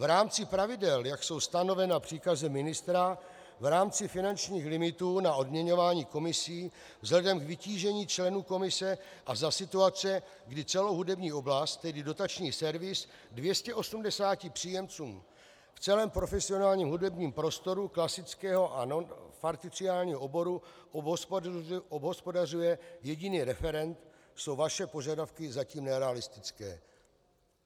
V rámci pravidel, jak jsou stanovena příkazem ministra v rámci finančních limitů na odměňování komisí vzhledem k vytížení členů komise a za situace, kdy celou hudební oblast, tedy dotační servis, 280 příjemcům v celém profesionálním hudebním prostoru klasického a parciálního oboru obhospodařuje jediný referent, jsou vaše požadavky zatím nerealistické.